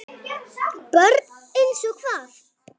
BJÖRN: Eins og hvað?